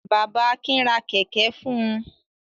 Bàbá Akin ra kẹ̀kẹ́ fún un.